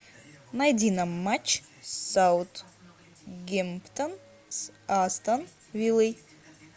найди нам матч саутгемптон с астон виллой